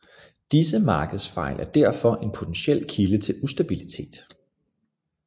Disse markedsfejl er derfor en potentiel kilde til ustabilitet